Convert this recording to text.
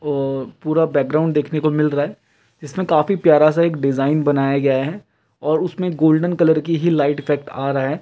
और पूरा बैकग्राउंड देखने को मिल रहा है जिसमें काफी प्यारा सा एक डिज़ाइन बनाया गया है और उसमें गोल्डन कलर की ही लाइट इफ़ेक्ट आ रहा है।